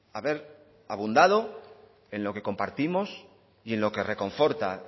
haber abundado en lo que compartimos y en lo que reconforta